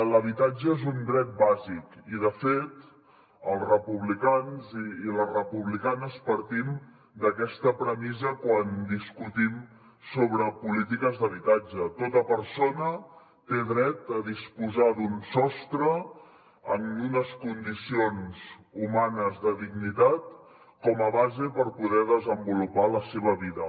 l’habitatge és un dret bàsic i de fet els republicans i les republicanes partim d’aquesta premissa quan discutim sobre polítiques d’habitatge tota persona té dret a disposar d’un sostre en unes condicions humanes de dignitat com a base per poder desenvolupar la seva vida